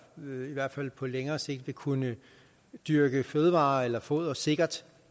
hvert fald på længere sigt vil kunne dyrke fødevarer eller foder sikkert